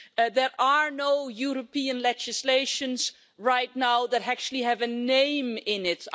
There is no European legislation right now that actually has a name in it.